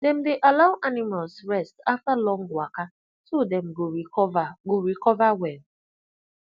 dem dey allow animals rest after long waka so dem go recover go recover well